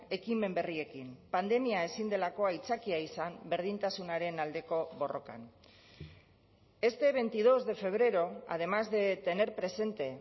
ekimen berriekin pandemia ezin delako aitzakia izan berdintasunaren aldeko borrokan este veintidós de febrero además de tener presente